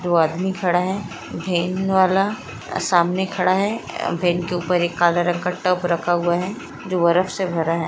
दो आदमी खड़ा है। वेन वाला अ सामने खड़ा है। वेन के ऊपर एक काला रंग का टप रखा हुआ है। जो बरफ से भरा है।